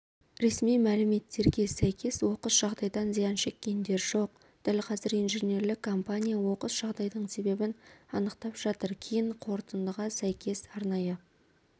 ресми мәліметтерге сәйкес оқыс жағдайдан зиян шеккендер жоқ дәл қазір инженерлік компания оқыс жағдайдың себебін анықтап жатыр кейін қорытындыға сәйкес арнайы